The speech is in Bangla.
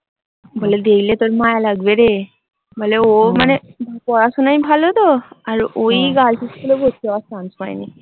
বলে দেখলে তোর মায়া লাগবে রে বলে ও মানে পড়াশোনায় ভালো তো? আর ওই girl's school এ ভর্তি হওয়ার chance পায়নি।